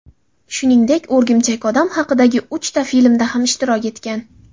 Shuningdek, O‘rgimchak odam haqidagi uchta filmda ham ishtirok etgan.